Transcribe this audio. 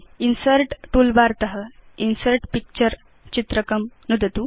insert toolbar त insert picture चित्रकं नुदतु